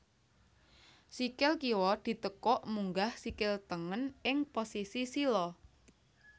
Sikil kiwa ditekuk munggah sikil tengen ing posisi sila